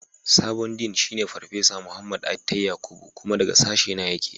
Sabon Dean shine Farfesa Muhammad Attai Yakubu. Kuma daga sashena yake.